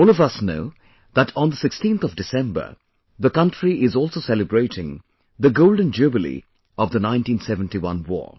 All of us know that on the 16th of December, the country is also celebrating the golden jubilee of the 1971 War